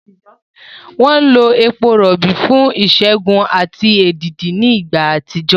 Wọ́n lo epo rọ̀bì fún ìṣègùn àti èdìdì ní ìgbà àtijọ́.